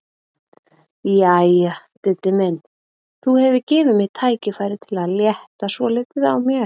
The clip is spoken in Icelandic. Jæja, Diddi minn, þú hefur gefið mér tækifæri til að létta svolítið á mér.